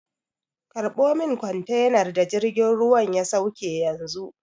Karɓo min kwantenar da jirgin ruwan ya sauke yanzu!